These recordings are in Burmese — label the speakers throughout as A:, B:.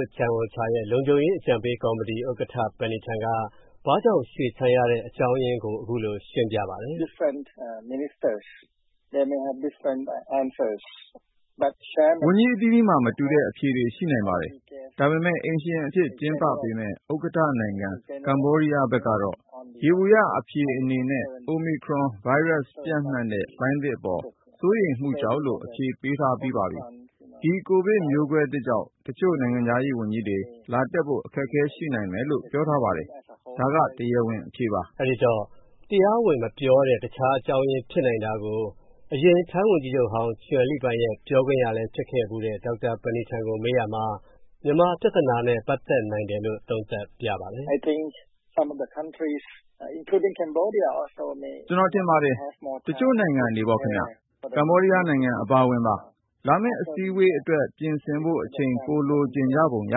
A: န်ချန်အိုချာ ရဲ့ လုံခြုံရေးအကြံပေး Panitan Wattanayagorn က ဘာကြောင့်ရွှေ့ဆိုင်းရသလဲ
B: ဆိုတာအခုလိုရှင်းပြပါတယ်။ Panitan Wattanayagorn ။. ။ ဝန်ကြီးအသီးသီးမှာမတူတဲ့ အဖြေတွေရှိနိုင်ပါတယ်။ဒါပေမဲ့ အိမ်ရှင်အဖြစ်ကျင်းပပေးမဲ့ ဥက္ကဌနိုင်ငံ ကမ္ဘောဒီးယားဘက်ကတော့ ယျေဘူယျအဖြေအနေနနဲ့ Omicron ဗိုင်းရပ်စ် ပျံနှံ့တဲ့လှိုင်းသစ်အပေါ် စိုးရိမ်မူကြောင့်လို့ အဖြေပေးထားပြီးပါပြီ။ဒီ ကိုဗစ်မျိုးကွဲသစ်ကြောင့် တချို.နိုင်ငံခြားရေးဝန်ကြီးတွေ လာတက်ဖို့ အခက်အခဲရှိနိုင်မယ်လို့ ပြောထားပါတယ်၊ဒါက တရားဝင်အဖြေပါ။
A: ကိုဝင်းမင်း ။.။ အဲဒီတော့ တရားဝင်မပြောတဲ့ တခြားအကြောင်းရင်းဖြစ်နိုင်တာကို အရင်ထိုင်းဝန်ကြီးချုပ် ချွန်လီပိုင် ရဲ့ ပြောခွင့်ရသူ Panitan ကိုမေးရာမှာ Panitan ။. ။ ကျွန်တော်
B: ထင်ပါတယ် တချို.နိုင်ငံတွေပေါ့နော်၊ ကမ္ဘောဒီးယားအပါအဝင်ပါ၊ လာမဲ့အစည်းအဝေးအတွက် ပြင်ဆင်ဖို့ အချိန်ပိုလိုချင်ကြပုံရ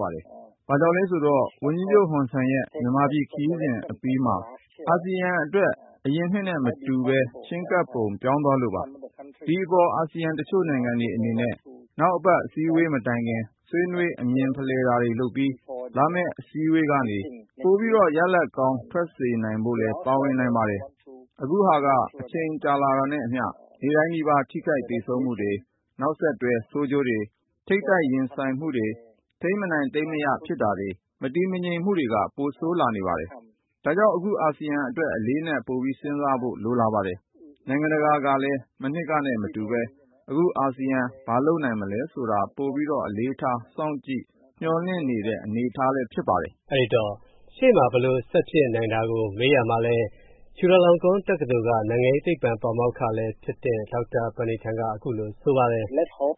B: ပါတယ်။ဘာကြောင့်လဲဆိုတော့ ဝန်ကြီးချုပ် ဟွန်ဆန်ရဲ့ မြန်မာခရီးစဉ်အပြီးမှာက အာဆီယံအတွက် အရင်နှစ်နဲ့မတူတော့ဘဲ ချည်းကပ်ပုံပြောင်းသွားလို့ပါ။ဒီအပေါ် အာဆီယံ တချို.နိုင်ငံတွေအနေနဲ့ နောက်အပတ်အစည်းအဝေးမတိုင်ခင် ဆွေးနွေးအမြင်ဖလှယ်တာတွေလုပ်ပြီး၊ လာမဲ့အစည်းအဝေးကနေ ပိုရလဒ်ကောင်းထွက်စေနိုင်ဖို့လည်း ပါနိုင်ပါတယ်။အခုဟာက အချိန်ကြာလာတာနဲ့အမျှ နေ့တိုင်းနီးပါး ထိခိုက်သေဆုံးရမူတွေ၊ နောက်ဆက်တွဲဆိုကျိုးတွေ၊ ထိပ်တိုက်ရင်ဆိုင်တာတွေ၊ ထိန်းမနိုင်သိမ်းမရဖြစ်တာတွေ မတည်ငြိမ်မူတွေက ပိုဆိုးလာပါတယ်။ဒါကြောင့် အခုက အာဆီယံအတွက် အလေးအနက်ပိုစဉ်းစားဖို့ လိုလာပါတယ်။နိုင်ငံတကာကလည်း မနှစ်ကနဲ့ မတူဘဲ အခုအာဆီယံဘာလုပ်နိုင်မလဲဆိုတာ ပိုအလေးထား စောင့်ကြည့်မျှော်လင့်လာနေတဲ့အနေအထားလည်း ဖြစ်နေပါတယ်။ ကိုဝင်းမင်း ။. ။ အဲတော့ ရှေ့ဘာဆက်ဖြစ်နိုင်မေးရာမှာ
A: ချူလာလောင်ကွန်း တက္ကသိုလ်က နိုင်ငံရေးသိပ္ပံပါမောက္ခလည်းဖြစ်တဲ့ ဒေါက်တာ Panitan က
B: အခုလိုပြောပါတယ်။
A: Panitan ။. ။ ဝန်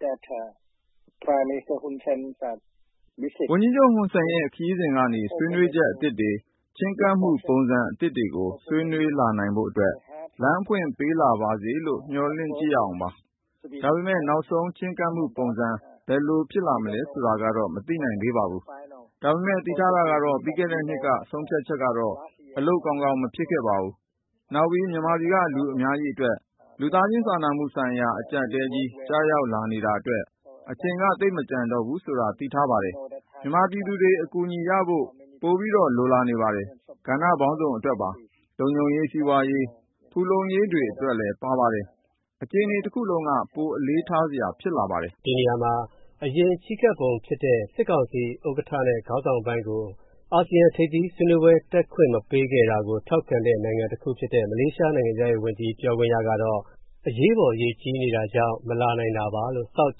B: ကြီးချုပ် ဟွန်ဆန်ရဲ့ ခရီးစဉ်ကနေ ဆွေးနွေးချက်အသစ်တွေ ချည်းကပ်မူပုံစံအသစ်တွေကို ဆွေးနွေးလာနိုင်ဖို့အတွက် လမ်းဖွင့်ပေးလာပါစေလို့ မျှော်လင့်ကြည့်ရအောင်ပါ။ဒါပေမဲ့ နောက်ဆုံးချည်းကပ်မူပုံစံ ဘယ်လိုဖြစ်လာမလဲဆိုတာတော့ မသိနိုင်သေးပါဘူး။ဒါပေမဲ့ သိထားတာကတော့ ပြီးခဲ့တဲ့နှစ်က ဆုံးဖြတ်ချက်ကတော့ အလုပ်ကောင်းကောင်းမဖြစ်ခဲ့ဘူး၊နောက် မြန်မာပြည်က လူအများကြီးအတွက် လူသားချင်းစာနာမူဆိုင်ရာအကြပ်အတည်းကြီး ကျရောက်လာနေတာအတွက် အချိန်က သိပ်မကျန်တော့ဘူးဆိုတာကို သိထားပါတယ်။မြန်မာပြည်သူတွေ အကူအညီရဖို့ ပို ပို လိုလာနေပါတယ်၊ ကဏ္ဍပေါင်းစုံအတွက်ပါ။ လုံခြုံရေး၊ စီးပွားရေး ဖူလုံရေးတွေလည်းပါပါတယ်။အခြေအနေတစ်ခုလုံးက ပိုအလေးထားစာရာဖြစ်လာနေပါတယ်။ ကိုဝင်းမင်း ။. ။ အရင်ချည်းကပ်ပုံဖြစ်တဲ့ စစ်ကောင်စီ
A: ဥက္ကဌ နဲ့ခေါင်းဆောင်ပိုင်းကို အာဆီယံအစည်းဝေးတက်ခွင့်မပေးတာနဲ့ ပတ်သက်ပြီးတော့ မလေးရှားနိုင်ငံခြားရေးဝန်ကြီး က အရေးပေါ်ရေကြီးနေတာကြောင့်မလာနိုင်တာတာပါလို့ South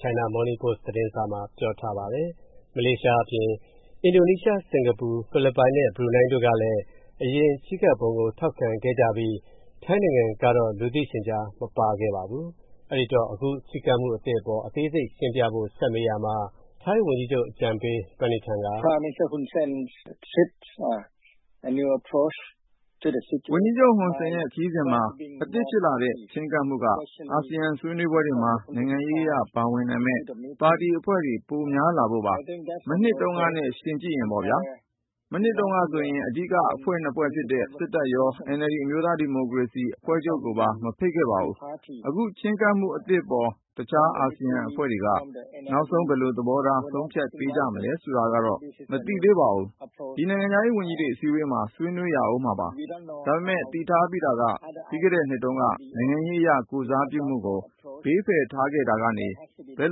A: China Morning Post ကို ပြောပါတယ်။ မလေးရှားအပြင် အင်ဒိုနီးရှား၊ဘရှုနိုင်း၊စင်္ကာပူတို့ကလည်း အရင်ချည်းကပ်မှုပုံစံကို ထောက်ခံခဲ့ကြပြီး ထိုင်းနိုင်ငံကတော့ လူသိရှင်ကြားမပါခဲ့ပါဘူး။ ဒါကြောင့် အခုပုံစံကို ထပ်မေးရာမှာ ထိုင်းဝန်ကြီးချုပ်အကြံပေး Panitan
B: က Panitan ။. ။ ဝန်ကြီးချုပ် ဟွန်ဆန်ရဲ့ ခရီးစဉ်မှာ အသစ်ဖြစ်လာတဲ့ ချည်းကပ်မူက အာဆီယံဆွေးနွေးပွဲတွေမှာ နိုင်ငံရေးအရ ပါဝင်နိုင်မဲ့ ပါတီအဖွဲ့တွေ ပိုများလာဖို့ပါ။မနှစ်တုံးကနဲ့ယှဉ်လိုက်ရင်ပေါ့နော်။မနှစ်တုံးကတော့ အဓိက ၂ ဖွဲ့ဖြစ်တဲ့ စစ်တပ် ရော NLD အမျိုးသားဒီမိုကရေစီအဖွဲ့ချုပ်ကိုပါ မဖိတ်ခဲ့ပါဘူး။အခု ချည်းကပ်မူအသစ်အပေါ် တခြားအာဆီယံအဖွဲ့တွေက နောက်ဆုံး ဘယ်လိုသဘောထား ဆုံးဖြတ်ပေးကြမလဲဆိုတာကတော့ မသိသေးပါဘူး။ ဒီနိုင်ငံခြားရေးဝန်ကြီးတွေအစည်းအဝေးမှာ ဆွေးနွေးရဦးမှာပါ။ဒါပေမဲ့ သိထားပြီးတာက ပြီးခဲ့တဲ့နှစ်တုံးက နိုင်ငံရေးအရကိုယ်စားပြုမူကို ဘေးဖယ်ထားခဲ့တာကနေ ဘယ်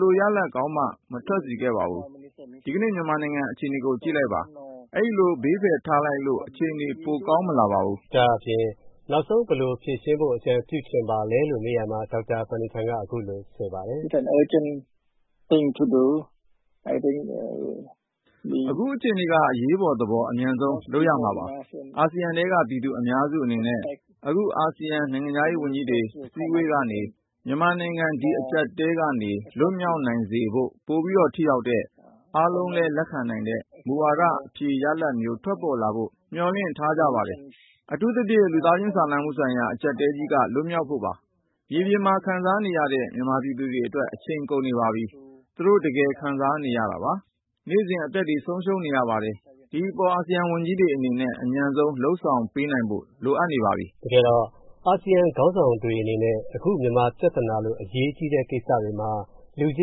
B: လိုရလဒ်ကောင်းမှ မထွက်စေခဲ့ပါဘူး။ဒီနေ့ မြန်မာနိုင်ငံအခြေအနေကို ကြည့်လိုက်ပါ၊ ခုလိုဖယ်ထုတ်ထားလိုက်လို့ အခြေအနေတွေ ပိုကောင်းမလာပါဘူး။ ကိုဝ
A: င်းမင်း ။. ။ နောက်ဆုံးဘယ်လိုများအကြံပြုချင်ပါလဲလို့မေးရာမှာ Panitan။.
B: ။ အခုအခြေအနေက အရေးပေါ်သဘော အမြန်ဆုံး လုပ်ကြရမှာပါ။အာဆီယံထဲက ပြည်သူအများစုအနေနဲ့ အခုအာဆီယံ နိုင်ငံခြားရေးဝန်ကြီးတွေ အစည်းအဝေးကနေ မြန်မာနိုင်ငံ ဒီ အကြပ်အတည်းကနေ လွတ်မြောက်စေနိုင်ဖို့ ပို ထိရောက်တဲ့ အားလုံးက လက်ခံနိုင်တဲ့ မူဝါဒအဖြေရလဒ်မျိုးထွက်လာဖို့ မျှော်လင့်ထားကြပါတယ်။အထူးသဖြင့် လူသားချင်းစာနာမူဆိုင်ရာ အကြပ်အတည်းကြီးက လွတ်နိုင်ဖို့ပါ။မြေပြင်မှာ ခံစားနေရတဲ့ မြန်မာပြည်သူတွေအတွက် အချိန်ကုန်နေပါပြီ။ သူတို့ တကယ်ခံစားနေရတာပါ၊နေ့စဉ်အသက်တွေဆုံးနေရပါတယ်။ဒီအပေါ် အာဆီယံ ဝန်ကြီးတွေအနေနဲ့ အမြန်ဆုံး လုပ်ဆောင်ပေးနိုင်ဖို့ လိုနေပါပြီ။
A: ကိုဝင်းမင်း ။. ။ တကယ်တော့ အာဆီယံခေါင်းဆောင်တွေအနေနဲ့ အခုမြန်မာပြသာနာလိုအရေးကြီးပြသာနာမှာ လူချ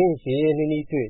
A: င်းရင်းရင်းနှီးနှီးတွေ့